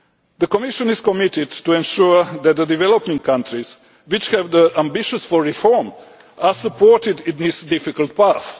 The Commission is committed to ensuring that the developing countries which have the ambition for reform are supported in this difficult